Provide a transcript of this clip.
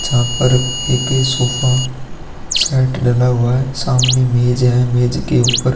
जहाँ पर एक सोफा सेट डाला हुआ है सामने मेज है मेज के ऊपर --